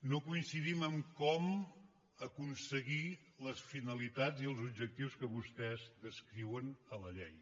no coincidim en com aconseguir les finalitats i els objectius que vostès descriuen a la llei